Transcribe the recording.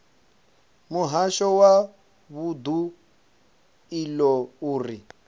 muhasho wa vundu iḽo uri